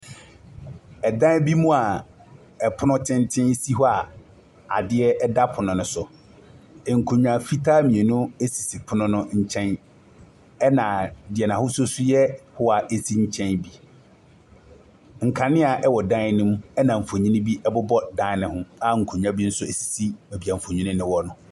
Dan bi mu a pono tenten si hɔ a adeɛ da pono no so. Nkonnwa fitaa mmienu sisi pono no nkyɛn, ɛnna deɛ n'ahosuo nso yɛ hoa si nkyɛn bi. Nkanea wɔ dan no mu, ɛnna mfonin bi bobɔ dan no ho, a nkonnwa bi nso sisi baabi a mfonin no wɔ no.